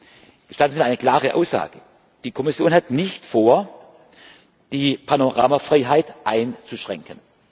Gestatten Sie mir eine klare Aussage Die Kommission hat nicht vor, die Panoramafreiheit einzuschränken.